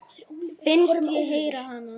Finnst ég heyra hana.